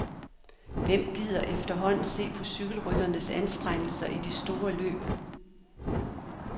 Hvem gider efterhånden se på cykelrytternes anstrengelser i de store løb.